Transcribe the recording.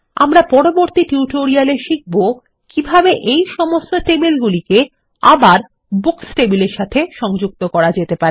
আমরা পরবর্তী টিউটোরিয়ালে শিখবো কিভাবে এই সমস্ত টেবিলগুলিকে আবার বুকস টেবিলের সাথে সংযুক্ত করা যেতে পারে